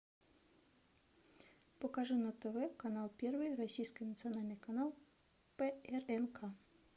покажи на тв канал первый российский национальный канал прнк